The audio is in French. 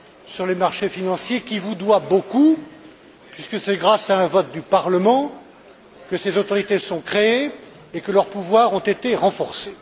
sur les marchés financiers, qui vous doit beaucoup, puisque c'est grâce à un vote du Parlement que ces autorités ont été créées et que leurs pouvoirs ont été renforcés.